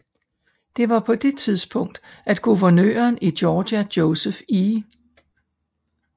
Det var på det tidspunkt at guvernøren i Georgia Joseph E